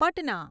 Patna